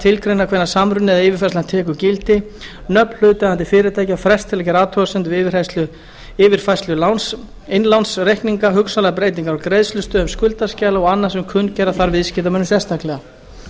tilgreina hvenær samruninn eða yfirfærslan tekur gildi nöfn hlutaðeigandi fyrirtækja frest til að gera athugasemdir við yfirfærslu innlánsreikninga hugsanlegar breytingar á greiðslustöðum skuldaskjala og annað sem kunngera þarf viðskiptamönnum sérstaklega